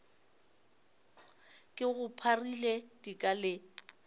ke go pharile dika le